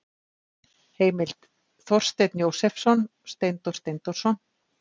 Heimild: Þorsteinn Jósepsson, Steindór Steindórsson.